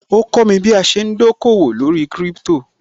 Ó kọ́mi bí a ṣe ń dòkòwò lórí Crypto